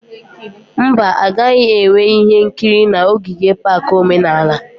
Mba, a gaghị enwe ihe nkiri na ogige pak omenala